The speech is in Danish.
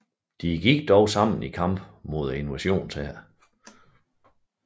De gik dog sammen i kamp mod invasionshæren